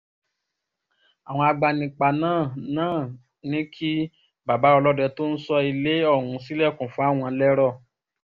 awọn agbanipa naa naa ni ki Baba ọlọdẹ to n sọ ile òhún si lẹkun fawọn lẹrọ